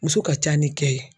Muso ka ca ni cɛ ye